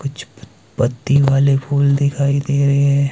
कुछ पत पत्ती वाले फूल दिखाई दे रहे हैं।